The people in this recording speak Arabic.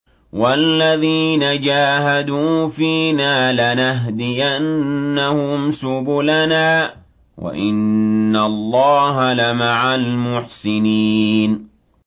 وَالَّذِينَ جَاهَدُوا فِينَا لَنَهْدِيَنَّهُمْ سُبُلَنَا ۚ وَإِنَّ اللَّهَ لَمَعَ الْمُحْسِنِينَ